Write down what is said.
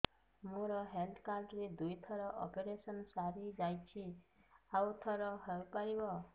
ମୋର health card ରେ ଦୁଇ ଥର ଅପେରସନ ସାରି ଯାଇଛି ଆଉ ଥର ହେଇପାରିବ